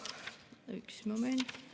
Üks moment.